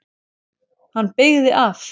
Hann beygði af.